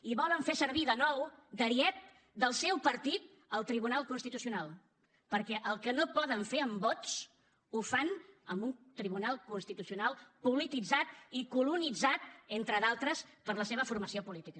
i volen fer servir de nou d’ariet del seu partit el tribunal constitucional perquè el que no poden fer amb vots ho fan amb un tribunal constitucional polititzat i colonitzat entre d’altres per la seva formació política